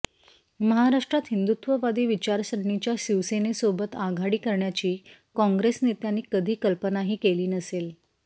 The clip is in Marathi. महाराष्ट्रात हिंदुत्ववादी विचारसरणीच्या शिवसेनेसोबत आघाडी करण्याची काँग्रेस नेत्यांनी कधी कल्पनाही केली नसेल